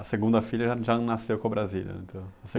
A segunda filha já nasceu com a Brasília, então?